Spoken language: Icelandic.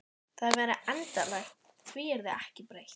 Það væri endanlegt, því yrði ekki breytt.